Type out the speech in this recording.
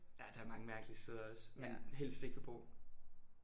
Ja der er mange mærkelige steder også man helst ikke vil bo